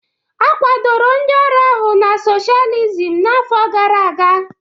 A kwadoro ndị ọrụ ahụ na socialism n'afọ gara aga